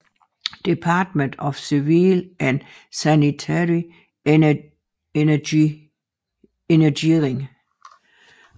Department of Civil and Sanitary Engineering